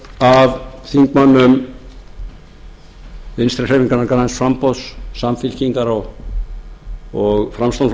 af þingmönnum vinstri hreyfingarinnar græns framboðs samfylkingar og framsóknarflokksins að